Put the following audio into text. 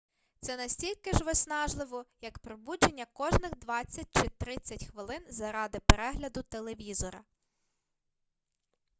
це настільки ж виснажливо як пробудження кожних двадцять чи тридцять хвилин заради перегляду телевізора